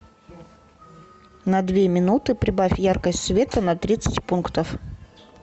на две минуты прибавь яркость света на тридцать пунктов